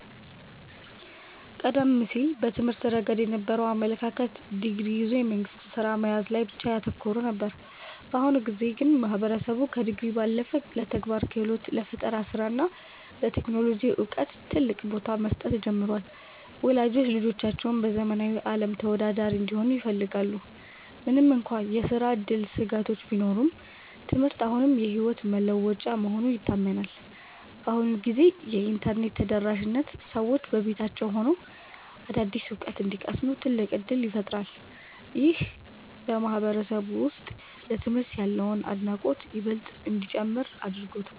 ቀደም ሲል በትምህርት ረገድ የነበረው አመለካከት ዲግሪ ይዞ የመንግሥት ሥራ መያዝ ላይ ብቻ ያተኮረ ነበር። በአሁኑ ጊዜ ግን ማህበረሰቡ ከዲግሪ ባለፈ ለተግባራዊ ክህሎት፣ ለፈጠራ ሥራ እና ለቴክኖሎጂ ዕውቀት ትልቅ ቦታ መስጠት ጀምሯል። ወላጆችም ልጆቻቸው በዘመናዊው ዓለም ተወዳዳሪ እንዲሆኑ ይፈልጋሉ። ምንም እንኳን የሥራ ዕድል ስጋቶች ቢኖሩም፣ ትምህርት አሁንም የሕይወት መለወጫ መሆኑ ይታመናል። በአሁኑ ጊዜ የኢንተርኔት ተደራሽነት ሰዎች በቤታቸው ሆነው አዳዲስ ዕውቀት እንዲቀስሙ ትልቅ ዕድል ፈጥሯል። ይህም በማህበረሰቡ ውስጥ ለትምህርት ያለውን አድናቆት ይበልጥ እንዲጨምር አድርጎታል።